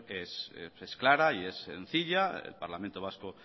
en clara y es sencilla el parlamento vasco